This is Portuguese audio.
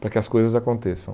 Para que as coisas aconteçam.